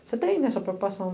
Você tem essa preocupação